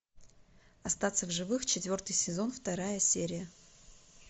остаться в живых четвертый сезон вторая серия